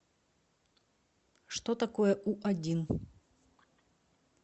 что такое у один